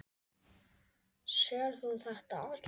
Sérð þú þetta allt?